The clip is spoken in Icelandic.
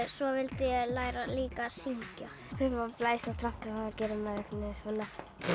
svo vildi ég læra líka að syngja þegar maður blæs í trompet þá gerir maður einhvern veginn svona